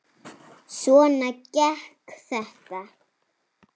Svona gekk þetta.